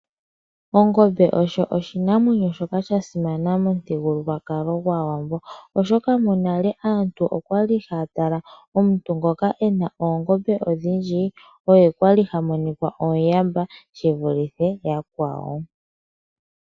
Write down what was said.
Ongmbe osho oshinima shoka sha simana momuthigululwakalo gwaawambo . Oshoka monale aantu okwali haya tala omuntu ngoka ena oongombe odhindji oye kwali ha monika omuyamba evule yakwawo.